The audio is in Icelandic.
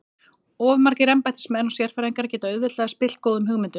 Of margir embættismenn og sérfræðingar geta auðveldlega spillt góðum hugmyndum.